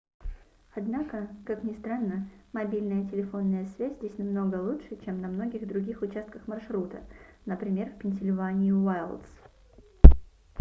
однако как ни странно мобильная телефонная связь здесь намного лучше чем на многих других участках маршрута например в пенсильвании уайлдс